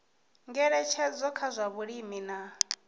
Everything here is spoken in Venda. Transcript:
ngeletshedzo kha zwa vhulimi na